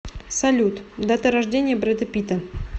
салют дата рождения брэда питта